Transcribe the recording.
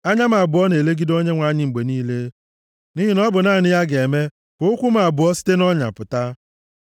Anya m abụọ na-elegide Onyenwe anyị mgbe niile; nʼihi na ọ bụ naanị ya ga-eme ka ụkwụ m abụọ site nʼọnya pụta.